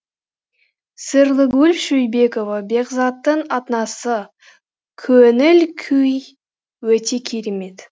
сырлыгүл шойбекова бекзаттың анасы көңіл күй өте керемет